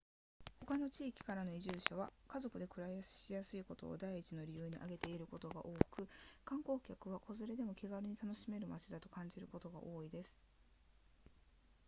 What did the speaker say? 他の地域からの移住者は家族で暮らしやすいことを第一の理由に挙げていることが多く観光客は子連れでも気軽に楽しめる街だと感じることが多いようです